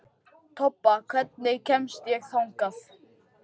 Tobba, hvernig kemst ég þangað?